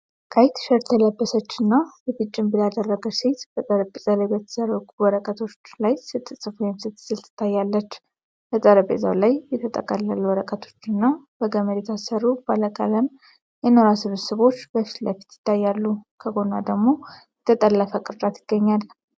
ቀይ ቲሸርት የለበሰችና የፊት ጭንብል ያደረገች ሴት በጠረጴዛ ላይ በተዘረጉ ወረቀቶች ላይ ስትጽፍ ወይም ስትስል ትታያለች። በጠረጴዛው ላይ የተጠቀለሉ ወረቀቶች እና በገመድ የታሰሩ ባለቀለም የኖራ ስብስቦች በፊት ለፊት ይታያሉ። ከጎኗ ደግሞ የተጠለፈ ቅርጫት ይገኛል።